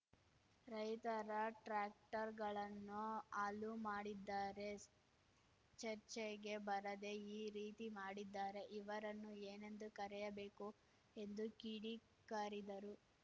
ರೈತರ ಟ್ರಾಕ್ಟರ್‌ಗಳನ್ನು ಹಾಲು ಮಾಡಿದ್ದಾರೆ ಚರ್ಚೆಗೆ ಬರದೆ ಈ ರೀತಿ ಮಾಡಿದ್ದಾರೆ ಇವರನ್ನು ಏನೆಂದು ಕರೆಯಬೇಕು ಎಂದು ಕಿಡಿ ಕಾರಿದರು